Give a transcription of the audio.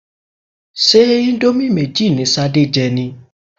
Ṣé íńdómì méjì ni Ṣadé jẹ ni?